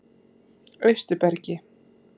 Austurbergi